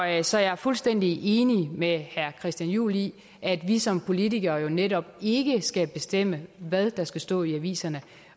jeg så jeg er fuldstændig enig med herre christian juhl i at vi som politikere jo netop ikke skal bestemme hvad der skal stå i aviserne